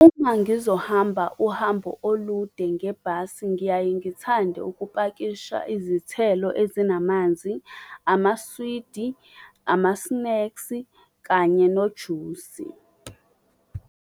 Uma ngizohamba uhambo olude ngebhasi ngiyaye ngithande ukupakisha izithelo ezinamanzi, amaswidi, amasneksi kanye nojusi.